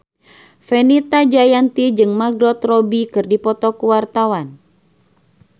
Fenita Jayanti jeung Margot Robbie keur dipoto ku wartawan